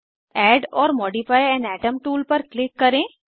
add or modify an atom tool पर click करें